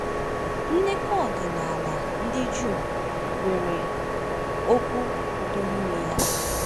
Ndekọ ọdịnala ndị Juu nwere okwu “udo” n’ime ya.